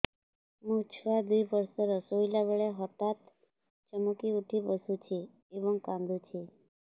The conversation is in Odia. ମୋ ଛୁଆ ଦୁଇ ବର୍ଷର ଶୋଇଲା ବେଳେ ହଠାତ୍ ଚମକି ଉଠି ବସୁଛି ଏବଂ କାଂଦୁଛି